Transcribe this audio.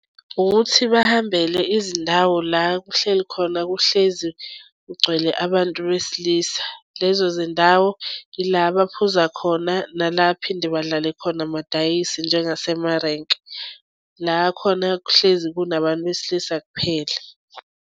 Ukuthi bahambele izindawo la kuhleli khona kuhlezi kugcwele abantu besilisa. Lezo zindawo ila abaphuza khona, nala aphinde badlale khona amadayi njengasemarenki. La khona kuhlezi kunabantu besilisa kuphela.